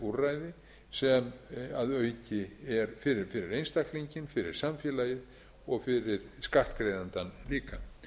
úrræði sem að auki er fyrir einstaklinginn fyrir samfélagið og fyrir skattgreiðandann líka